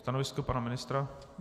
Stanovisko pana ministra?